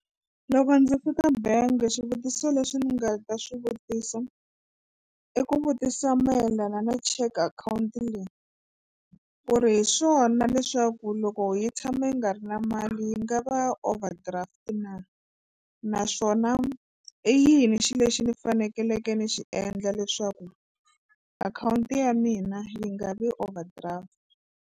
Loko ndzi fika bank swivutiso leswi ni nga ta swi vutisa i ku vutisa mayelana na cheque akhawunti leyi ku ri hi swona leswaku loko yi tshame yi nga ri na mali yi nga va overdraft na naswona i yini xi lexi ni faneleke ni xi endla leswaku akhawunti ya mina yi nga vi overdraft.